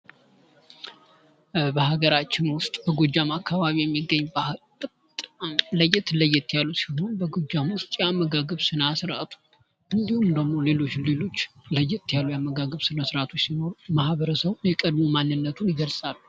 በሀገራችን ውስጥ በጎጃም አካባቢ የሚገኝ ባህል ለየት ለየት ያሉ ሲሆኑ በጎጃም ውስጥ የአመጋገብ ስነስርዓቱ እንድሁም ደግሞ ሌሎች ሌሎች ለየት ያሉ የአመጋገብ ስነስርዓቶች ሲኖሩ ማህበረሰቡን የቀድሞ ማንነቱን ይገልፃሉ።